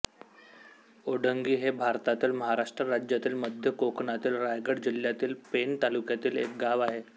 ओढंगी हे भारतातील महाराष्ट्र राज्यातील मध्य कोकणातील रायगड जिल्ह्यातील पेण तालुक्यातील एक गाव आहे